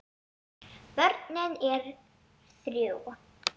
Börnin er þrjú.